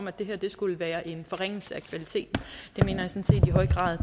at det her skulle være en forringelse af kvaliteten det mener